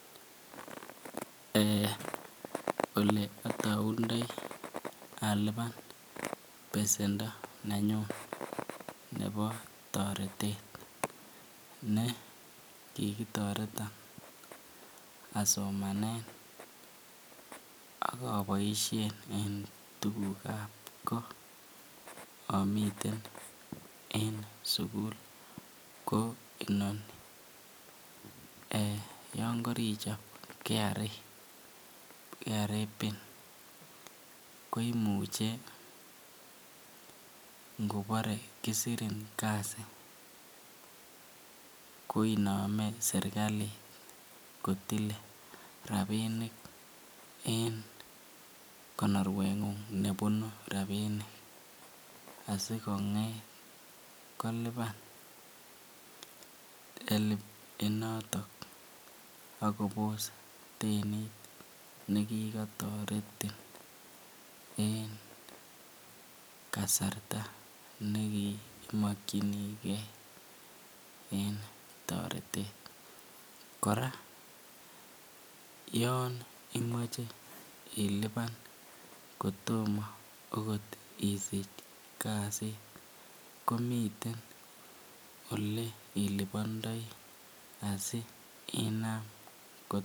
Eeh, oleataundoi alupan besendo nenyun nebo toretet ne kikitoteton asomanen ak aboisien en tugukab ko amiten en sugul ko inoni. Yon karichop KRA Pin koimiche ngobore kisirin kasi koinome sergalit kotile rapinik en konorwengung nebunu rapinik asikonget kolipan HELB inotokak kobos denit nekikotoretin en kasarta nekikimakyinige en toretet. Kora yon imoche ilipan kotomo agot isich kasit komiten ole ilipandoi asi inam